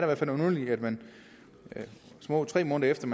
hvert fald underligt at man små tre måneder efter